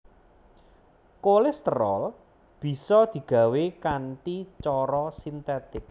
Kolesterol bisa digawé kanthi cara sintetik